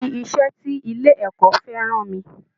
Ibi iṣẹ́ tí ilé ẹ̀kọ́ fẹ́ rán mi